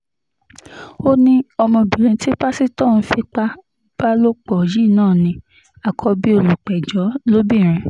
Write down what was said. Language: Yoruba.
ó ní ọmọbìnrin tí pásítọ̀ ń fipá bá lò pọ̀ yìí náà ní àkọ́bí olùpẹ̀jọ́ lóbìnrin